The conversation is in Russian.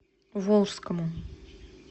волжскому